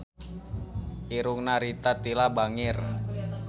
Irungna Rita Tila bangir